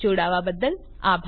જોડાવા બદ્દલ આભાર